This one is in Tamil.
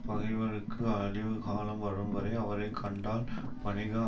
பகைவர்க்கு அழிவுகாலம் வரும்வரை அவரை கண்டால் பணிக